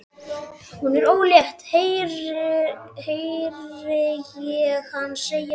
Hún er ólétt, heyri ég hana segja við aðra.